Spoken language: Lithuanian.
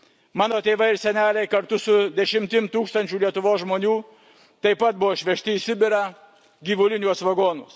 Mano tėvai ir seneliai kartu su dešimtimis tūkstančių Lietuvos žmonių taip pat buvo išvežti į Sibirą gyvuliniuose vagonuose.